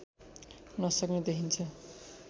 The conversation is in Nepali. नसक्ने देखिन्छ